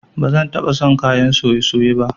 Ba zan taba son kayan soye-soye ba